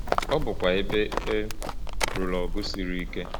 Ọ bụkwa ebe e lụrụ ọgụ siri ike.